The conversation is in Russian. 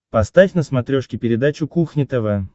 поставь на смотрешке передачу кухня тв